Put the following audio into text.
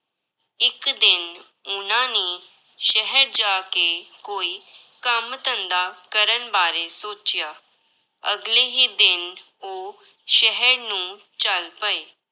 ਇੱਕ ਦਿਨ ਉਹਨਾਂ ਨੇ ਸ਼ਹਿਰ ਜਾ ਕੇ ਕੋਈ ਕੰਮ ਧੰਦਾ ਕਰਨ ਬਾਰੇ ਸੋਚਿਆ, ਅਗਲੇ ਹੀ ਦਿਨ ਉਹ ਸ਼ਹਿਰ ਨੂੰ ਚੱਲ ਪਏ।